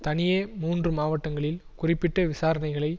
தனியே மூன்று மாவட்டஙகளில் குறிப்பிட்ட விசாரணைகளை